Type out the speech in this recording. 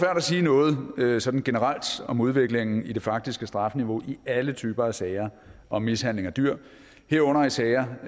at sige noget noget sådan generelt om udviklingen i det faktiske strafniveau i alle typer af sager om mishandling af dyr herunder i sager